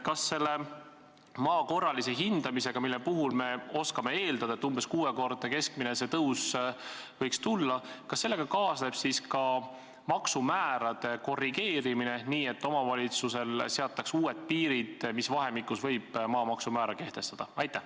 Kas selle maa korralise hindamisega, mille puhul me oskame eeldada, et see keskmine tõus võiks olla umbes kuuekordne, kaasneb siis ka maksumäärade korrigeerimine, nii et omavalitsusele seataks uued piirid, mis vahemikus võib maamaksumäära kehtestada?